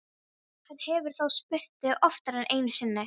Hann hefur þá spurt þig oftar en einu sinni?